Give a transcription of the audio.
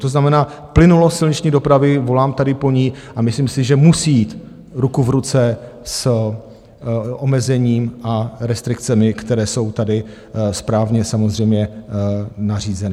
To znamená plynulost silniční dopravy, volám tady po ní a myslím si, že musí jít ruku v ruce s omezením a restrikcemi, které jsou tady správně samozřejmě nařízeny.